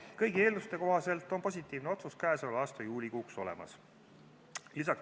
Kõigi eelduste kohaselt on positiivne otsus käesoleva aasta juulikuuks olemas.